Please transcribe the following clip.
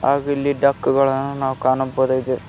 ಹಾಗು ಇಲ್ಲಿ ಡಕ್ ಗಳನ್ನು ನಾವು ಕಾಣಬೊದಾಗಿದೆ.